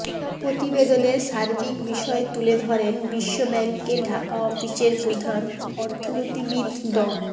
প্রতিবেদনের সার্বিক বিষয় তুলে ধরেন বিশ্বব্যাংকের ঢাকা অফিসের প্রধান অর্থনীতিবিদ ড